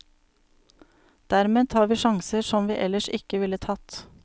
Dermed tar vi sjanser som vi ellers ikke ville tatt.